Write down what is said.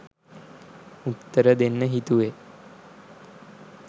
උත්තර දෙන්න හිතුවේ.